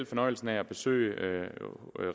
fornøjelsen af at besøge